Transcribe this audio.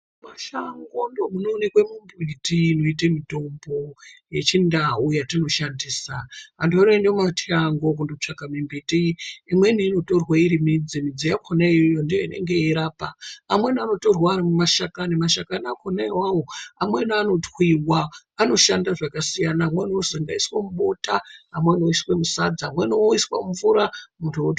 Mumashango ndimo munooneka mimbiti inoita mutombo yechindau yatinoshandisa kunoendiwa mumashango kunotsvaka mumbiti imweni inotorwa iri midzi yakona ndiyo inenge yeirapa amweni anotorwa ari mashakani. Mashakani onaawawo amweni anotwiwa anoshanda zvakasiyana amweni anoshanda eiswa mubota amweni oiswa musadza amweni oiswa mumvura muntu